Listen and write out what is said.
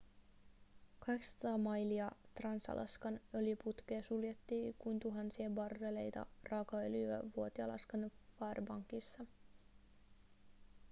800 mailia trans-alaskan öljyputkea suljettiin kun tuhansia barreleita raakaöljyä vuoti alaskan fairbanksissa